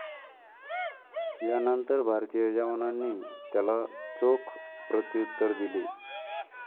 यानंतर भारतीय जवानांनी त्याला चोख प्रत्युत्तर दिले.